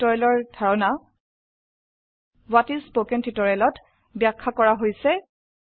spoken টিউটোৰিয়েলৰ ধাৰণা what is spoken tutorial -ত ব্যাখ্যা কৰা হৈছে